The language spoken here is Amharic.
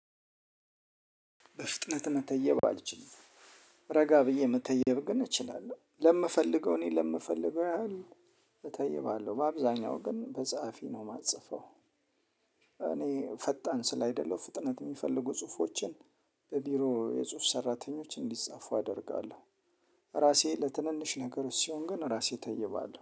በፍጥነት መተየብ አልችልም ረጋ ብዬ መተየብ ግን እችላለሁ ለምፈልገው እኔ ለምፈልገው ያህል እተይባለሁ በአብዛኛው ግን በጸሐፊ ነው የማጽፈው። እኔ ፈጣን ስላይደለው ፍጥነት የሚፈልጉ ጽሁፎችን በቢሮ የጽሁፍ ሰራተኞች እንዲጻፉ አደርጋለሁ። ራሴ ለትንንሽ ነገሮች ሲሆን ግን ራሴ ተይባለሁ